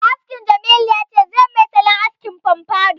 Mai askin Jamilu ya ce zai yi mai salon askin famfadou